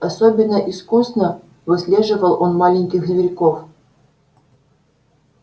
особенно искусно выслеживал он маленьких зверьков